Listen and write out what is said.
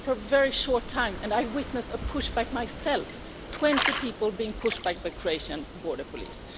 I was there for a very short time and I witnessed a push-back myself 20 people being pushed back by Croatian border police.